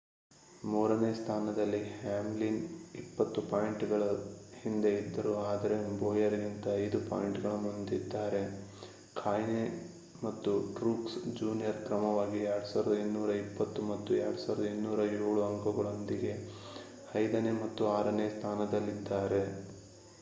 ಮೂರನೇ ಸ್ಥಾನದಲ್ಲಿ ಹ್ಯಾಮ್ಲಿನ್ 20 ಪಾಯಿಂಟ್‌ಗಳ ಹಿಂದೆ ಇದ್ದರು ಆದರೆ ಬೋಯರ್‌ಗಿಂತ 5 ಪಾಯಿಂಟ್‌ಗಳ ಮುಂದಿದ್ದಾರೆ. ಕಾಹ್ನೆ ಮತ್ತು ಟ್ರೂಕ್ಸ್ ಜೂನಿಯರ್ ಕ್ರಮವಾಗಿ 2,220 ಮತ್ತು 2,207 ಅಂಕಗಳೊಂದಿಗೆ ಐದನೇ ಮತ್ತು ಆರನೇ ಸ್ಥಾನದಲ್ಲಿದ್ದಾರೆ